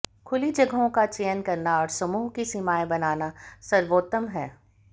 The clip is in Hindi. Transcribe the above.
खुली जगहों का चयन करना और समूह की सीमाएं बनाना सर्वोत्तम है